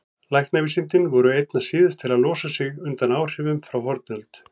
Læknavísindin voru einna síðust til að losa sig undan áhrifum frá fornöld.